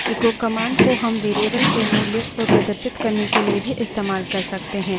echo command को हम variable के मूल्य को प्रदर्शित करने के लिए भी इस्तेमाल कर सकते हैं